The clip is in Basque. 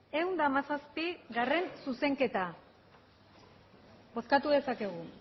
ehun eta hamazazpigarrena zuzenketa bozkatu dezakegu